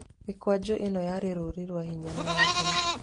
Mĩkwanjũ ĩno yarĩ rũri rwa hinya na wathani.